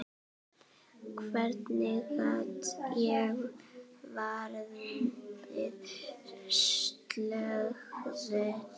Hvernig gat ég verið slösuð?